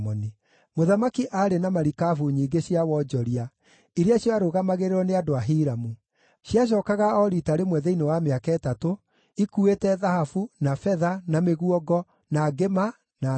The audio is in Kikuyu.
Mũthamaki aarĩ na marikabu nyingĩ cia wonjoria iria ciarũgamagĩrĩrwo nĩ andũ a Hiramu. Ciacookaga o riita rĩmwe thĩinĩ wa mĩaka ĩtatũ, ikuuĩte thahabu, na betha, na mĩguongo, na ngĩma, na nũgũ.